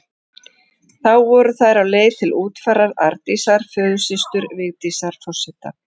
Þá voru þær á leið til útfarar Arndísar, föðursystur Vigdísar forseta.